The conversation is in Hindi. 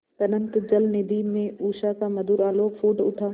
अनंत जलनिधि में उषा का मधुर आलोक फूट उठा